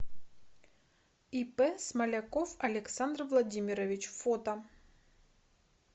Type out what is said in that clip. ип смоляков александр владимирович фото